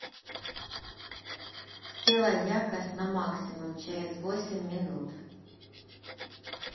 сделай яркость на максимум через восемь минут